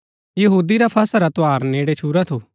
यहूदी रा फसह रा त्यौहार नेड़ै छूरा थू